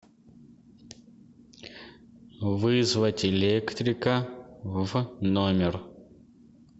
вызвать электрика в номер